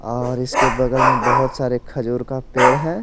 और इसके बगल में बहुत सारे खजूर का पेड़ है।